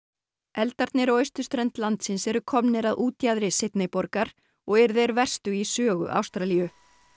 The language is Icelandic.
eldarnir á austurströnd landsins eru komnir að útjaðri borgar og eru þeir verstu í sögu Ástralíu